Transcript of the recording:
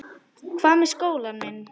Hvað með skólann minn?